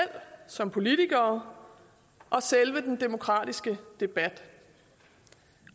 som politikere og selve den demokratiske debat